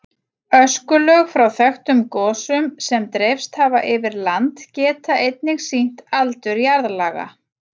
Öskulög frá þekktum gosum sem dreifst hafa yfir land geta einnig sýnt aldur jarðlaga.